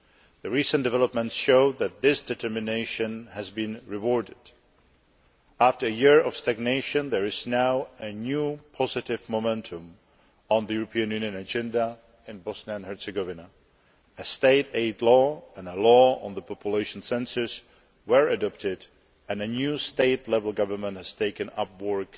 The recent developments show that this determination has been rewarded. After a year of stagnation, there is now a new positive momentum on the European Union agenda in Bosnia and Herzegovina A state aid law and a law on the population census were adopted and a new state level government has taken up work